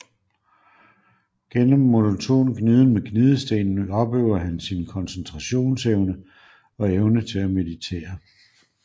Gennem monoton gniden med gnidestenen opøver han sin koncentrationsevne og evne til at meditere